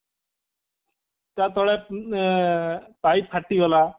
ତା ତଳେ ଏଁ ପାଇପ ଫାଟିଗଲା